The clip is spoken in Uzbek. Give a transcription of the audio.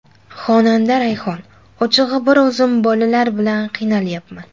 Xonanda Rayhon: Ochig‘i, bir o‘zim bolalar bilan qiynalyapman.